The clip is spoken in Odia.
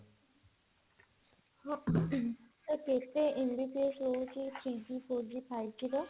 ତ କେତେ MBPS ରହୁଛି three G four G five G ର